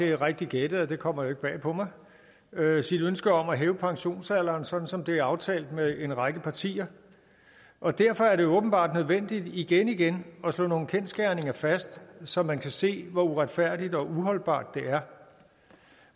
det er rigtigt gættet og det kommer jo ikke bag på mig sit ønske om at hæve pensionsalderen sådan som det er aftalt med en række partier og derfor er det jo åbenbart nødvendigt igen igen at slå nogle kendsgerninger fast så man kan se hvor uretfærdigt og uholdbart det er